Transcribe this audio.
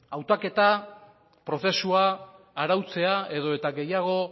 hautaketa prozesua arautzea edo eta gehiago